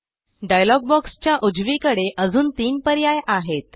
dialogue बॉक्सच्या उजवीकडे अजून तीन पर्याय आहेत